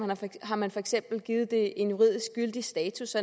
har man for eksempel givet den en juridisk gyldig status